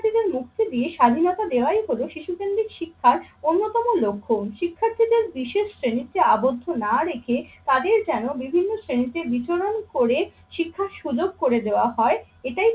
শিক্ষার্থীদের মুক্তি দিয়ে স্বাধীনতা দেওয়াই হলো শিশু কেন্দ্রিক শিক্ষার অন্যতম লক্ষ্য। শিক্ষার্থীদের বিশেষ শ্রেণীতে আবদ্ধ না রেখে তাদের যেন বিভিন্ন শ্রেণীতে বিচরণ করে শিক্ষার সুযোগ করে দেওয়া হয়। এটাই